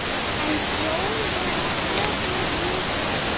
En sjón er sögu ríkari.